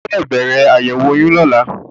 O gbọ́dọ̀ bẹ̀rẹ̀ àyẹ̀wò oyún lọ́la.